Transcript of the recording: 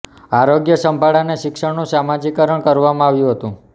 આરોગ્ય સંભાળ અને શિક્ષણનું સામાજિકકરણ કરવામાં આવ્યું હતું